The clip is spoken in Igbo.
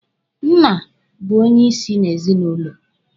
Nna bụ onyeisi n'ezinụlọ.